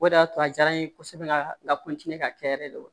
O de y'a to a diyara n ye kosɛbɛ ka ka kɛ yɛrɛ de